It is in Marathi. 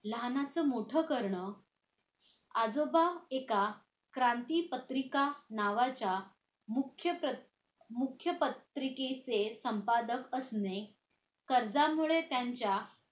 लहानाचं मोठं करणं आजोबा एका क्रांती पत्रिका नावाच्या मुख्य मुख्य पत्रिकेचे संपादक असणे कर्जामुळे त्यांच्या